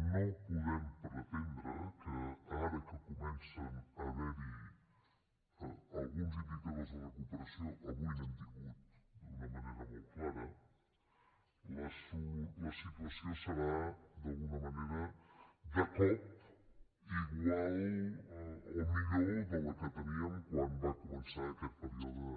no podem pretendre que ara que comencen a haverhi alguns indicadors de recuperació avui n’hem tingut d’una manera molt clara la situació serà d’alguna manera de cop igual o millor de la que teníem quan va començar aquest període